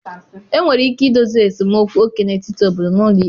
Enwere ike idozi esemokwu oke n'etiti obodo n'ụlọ ikpe.